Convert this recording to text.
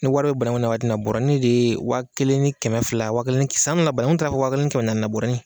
Ni wari be banaŋu na waati min na bɔrɔnin dee wa kelen ni kɛmɛ fila wa kelen ni san min na banaŋu taara fo wa kelen ni kɛmɛ naani na bɔrɔnin